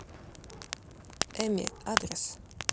эми адрес